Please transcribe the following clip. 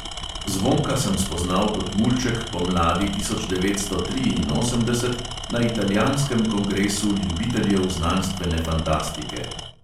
Zvonka sem spoznal kot mulček pomladi tisoč devetsto triinosemdeset na italijanskem kongresu ljubiteljev znanstvene fantastike.